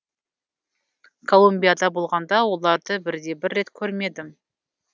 колумбияда болғанда оларды бірде бір рет көрмедім